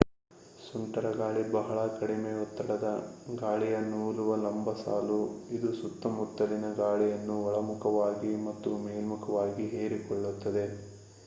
ಸುಂಟರಗಾಳಿ ಬಹಳ ಕಡಿಮೆ ಒತ್ತಡದ ಗಾಳಿಯ ನೂಲುವ ಲಂಬಸಾಲು ಇದು ಸುತ್ತಮುತ್ತಲಿನ ಗಾಳಿಯನ್ನು ಒಳಮುಖವಾಗಿ ಮತ್ತು ಮೇಲ್ಮುಖವಾಗಿ ಹೀರಿಕೊಳ್ಳುತ್ತದೆ